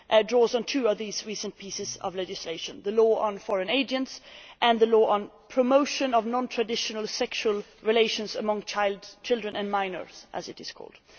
draw on two of these recent pieces of legislation the Law on Foreign Agents and the Law on Promotion of Non traditional Sexual Relations among Children and Minors, as it is called.